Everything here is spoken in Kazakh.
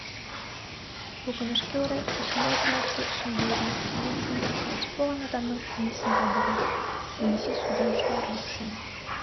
өкінішке орай осындай жерлерге сүңгуірлер негізінде қайтыс болған адамның денесін табуға немесе судан шығару үшін